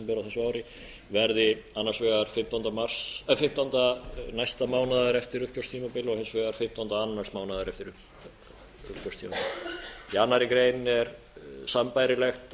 og nóvember desember á þessu ári verði annars vegar fimmtánda næsta mánaðar eftir uppgjörstímabil og hins vegar fimmtánda annars mánaðar eftir uppgjörstímabil í annarri grein er sambærilegt